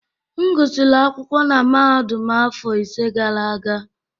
M gụsịrị akwụkwọ na mahadum afọ ise gara aga